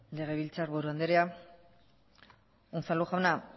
legebiltzarburu andrea unzalu jauna